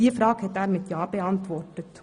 Er hat meine Frage mit ja beantwortet.